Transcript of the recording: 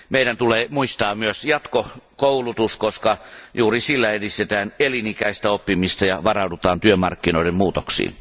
Meidän tulee muistaa myös jatkokoulutus, koska juuri sillä edistetään elinikäistä oppimista ja varaudutaan työmarkkinoiden muutoksiin.